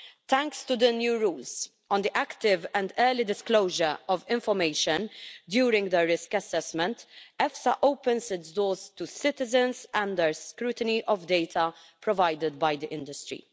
Thanks to the new rules on the active and early disclosure of information during the risk assessment, EFSA opens its doors to citizens and their scrutiny of data provided by the industry.